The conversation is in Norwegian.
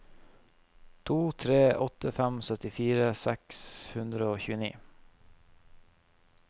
tre to åtte fem syttifire seks hundre og tjueni